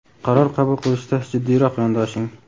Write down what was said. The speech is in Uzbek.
qaror qabul qilishda jiddiyroq yondoshing.